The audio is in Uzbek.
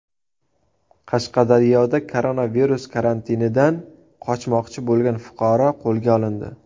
Qashqadaryoda koronavirus karantinidan qochmoqchi bo‘lgan fuqaro qo‘lga olindi.